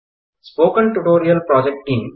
spoken tutorial project team